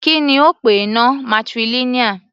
Kí ni ó pè náà, matrilineal?